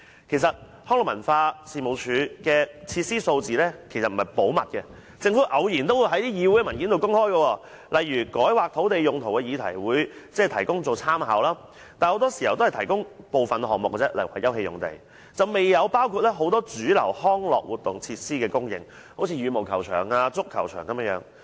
其實，康文署的設施數字並不是秘密，政府偶然也會在議會文件內公開，例如在改劃土地用途的議題提供這些數據作參考，但很多時候只提供部分項目，未有包括很多主流康樂活動設施的供應數據，例如羽毛球場、足球場等。